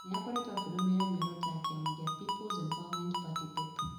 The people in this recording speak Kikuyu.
nĩ akoretwo akĩrũmĩrĩra mĩoroto ya kĩama kĩa People's Empowerment Party (PEP) ,